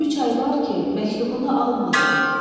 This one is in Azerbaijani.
Üç ay var ki, məktubunu almadım.